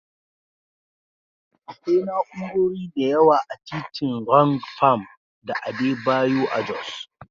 Akwai na'urori da yawa a titin Rwang Pam da Adebayo a Jos.